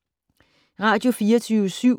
Radio24syv